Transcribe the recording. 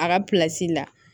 A ka la